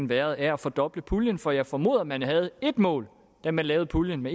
været af at fordoble puljen for jeg formoder at man havde et mål da man lavede puljen